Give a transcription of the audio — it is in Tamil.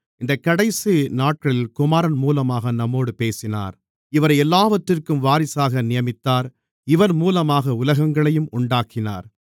இந்தக் கடைசிநாட்களில் குமாரன் மூலமாக நம்மோடு பேசினார் இவரை எல்லாவற்றிற்கும் வாரிசாக நியமித்தார் இவர் மூலமாக உலகங்களையும் உண்டாக்கினார்